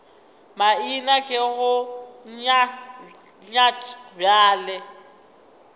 maina ke go nyat bjale